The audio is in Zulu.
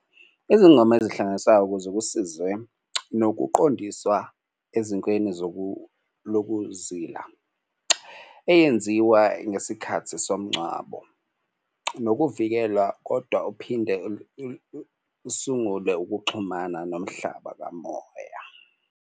Izingoma ezihlanganisa ukuze kusizwe nokuqondiswa ezinkweni lokuzila eyenziwa ngesikhathi somngcwabo nokuvikela kodwa uphinde sungule ukuxhumana nomhlaba kamoya.